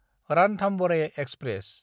Ranthambore express